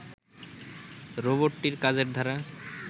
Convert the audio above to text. রোবটটির কাজের ধারা